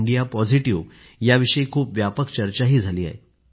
India positive याविषयी खूप व्यापक चर्चाही झाली आहे